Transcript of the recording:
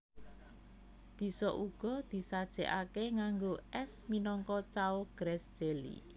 Bisa uga disajèkaké nganggo ès minangka cao grass jelly